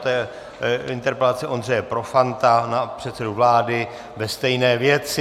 To je interpelace Ondřeje Profanta na předsedu vlády ve stejné věci.